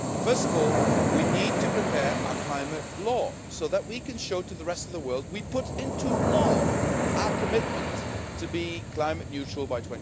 First of all, we need to prepare our climate law so that we can show the rest of the world that we put into law our commitment to be climate neutral by